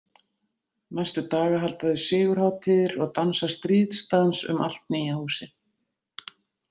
Næstu daga halda þau sigurhátíðir og dansa stríðsdans um allt nýja húsið.